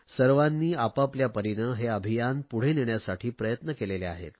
सर्वांनी आपापल्या परीने हे अभियान पुढे नेण्यासाठी प्रयत्न केले आहेत